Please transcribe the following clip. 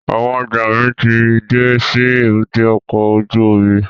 Àwọn ọjọ́ mi ti dé sí èbúté ọkọ̀ ojú omi